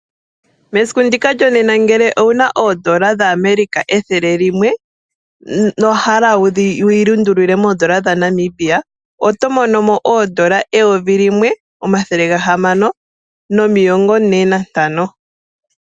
Mesiku ndika lyonena ngele owu na oondola dhaAmerica ethele limwe nowa hala wuyi lundululile moondola dhaNamibia oto mono mo N$1645.